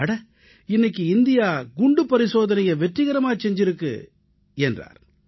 அட இன்னைக்கு இந்தியா வெடிகுண்டு பரிசோதனையை வெற்றிகரமா செஞ்சிருக்கு என்றார்